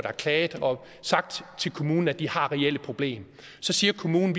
har klaget og sagt til kommunen at de har reelle problemer så siger kommunen